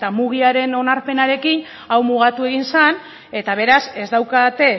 mugiaren onarpenarekin hau mugatu egin zen eta beraz ez daukate